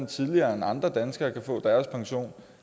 tidligere end andre danskere kan få deres pension